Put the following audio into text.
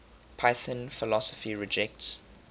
python philosophy rejects